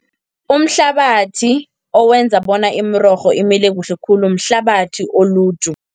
Umhlabathi, owenza bona imirorho imile kuhle khulu mhlabathi oluju.